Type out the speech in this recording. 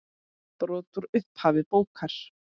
Brot úr upphafi bókar